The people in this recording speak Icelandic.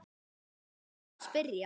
Hvern á ég að spyrja?